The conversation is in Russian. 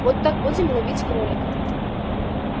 вот так будем ловить кролика